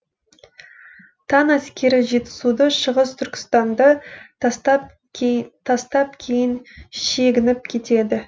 тан әскері жетісуды шығыс түркістанды тастап кейін шегініп кетеді